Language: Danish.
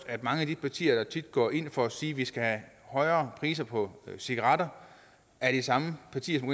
at mange af de partier der tit går ind for at sige at vi skal have højere priser på cigaretter er de samme partier som